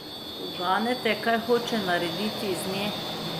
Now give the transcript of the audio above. Uganete, kaj hoče narediti iz nje?